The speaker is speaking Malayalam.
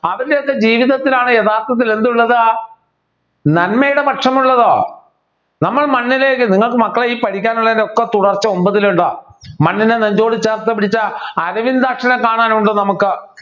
അതിനൊക്കെ ജീവിതത്തിലാണ് യഥാർത്ഥത്തിൽ എന്തുള്ളത് നന്മയുടെ പക്ഷമുള്ളത് നമ്മൾ മണ്ണിലേക്ക് നിങ്ങക്ക് മക്കളെ ഈ പഠിക്കാനുള്ളതിൻ്റെ ഒക്കെ തുടർച്ച ഒമ്പതിൽ ഉണ്ടാകും മണ്ണിനെ നെഞ്ചോട് ചേർത്ത് പിടിച്ച അരവിന്ദാക്ഷനെ കാണാനുണ്ട് നമുക്ക്